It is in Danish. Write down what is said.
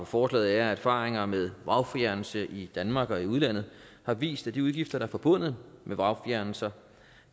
forslaget er at erfaringer med vragfjernelse i danmark og i udlandet har vist at de udgifter der er forbundet med vragfjernelser